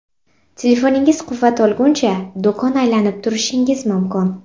Telefoningiz quvvat olguncha, do‘kon aylanib turishingiz mumkin.